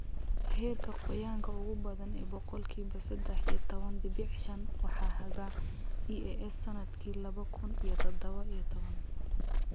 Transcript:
Heerka qoyaanka ugu badan ee boqolkiba sadah iyo tawan dibic shan waxaa haga EAS sanadkii laba kun iyo sadhawa iyo tawankii